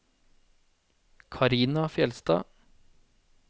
Karina Fjeldstad